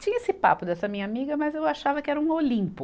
Tinha esse papo dessa minha amiga, mas eu achava que era um Olimpo.